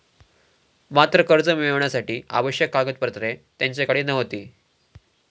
मात्र कर्ज मिळविण्यासाठी आवश्यक कागदपत्रे त्यांच्याकडे नव्हती.